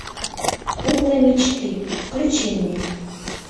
кукла мечты включи мне